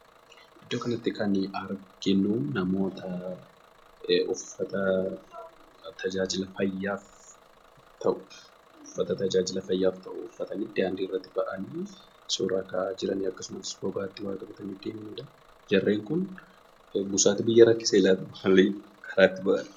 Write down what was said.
Iddoo kanatti kan arginu, namoota uffata tajaajila fayyaaf ta'u uffatanii, daandiirratti ba'anii, suuraa ka'aa jiran akkasumas bobaa jalatti waa qabatanii deemaniidha. Jarreen kun busaatu biyya rakkisee laata? maaliif karaatti ba'an?